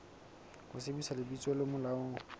ho sebedisa lebitso le molaong